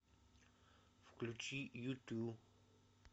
включи юту